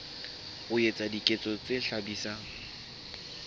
ho etsa diketso tse hlabisang